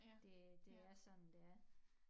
Det det er sådan det er